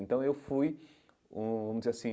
Então eu fui, hum vamos dizer assim,